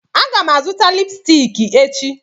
Aga m azụta lipsticki echi